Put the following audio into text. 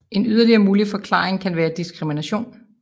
En yderligere mulig forklaring kan være diskrimination